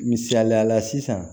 Misaliya la sisan